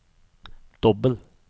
dobbel